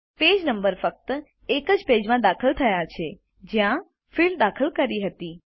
page number ફક્ત એ જ પેજમાં દાખલ થયા છે જ્યાં ફિલ્ડ દાખલ કરી હતી